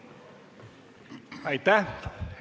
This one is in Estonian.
Aitäh!